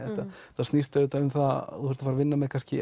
þetta snýst um það að þú ert að fara að vinna með